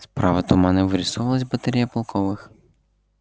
справа туманно вырисовывалась батарея полковых